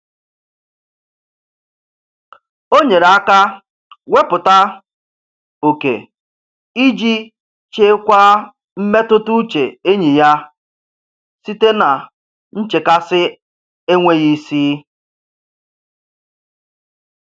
O nyere aka wepụta oke iji chekwaa mmetụtauche enyi ya site na nchekasị enweghị isi.